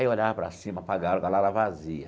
Aí olhava para cima, para a gaiola, gaiola vazia.